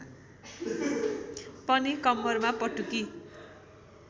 पनि कम्मरमा पटुकी